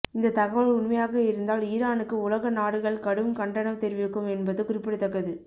இந்த தகவல் உண்மையாக இருந்தால் ஈரானுக்கு உலக நாடுகள் கடும் கண்டனம் தெரிவிக்கும் என்பது குறிப்பிடத்தக்கது